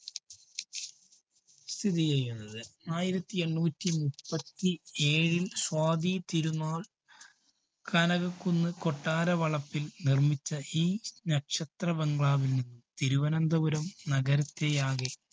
സ്ഥിതിചെയ്യുന്നത്. ആയിരത്തിഎണ്ണൂറ്റി മുപ്പത്തിഏഴില്‍ സ്വാതി തിരുന്നാള്‍ കനകകുന്ന് കൊട്ടാരവളപ്പില്‍ നിര്‍മ്മിച്ച ഈ നക്ഷത്ര bungalow വ്, തിരുവനന്തപുരം നഗരത്തെയാകെ